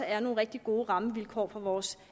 er nogle rigtig gode rammevilkår for vores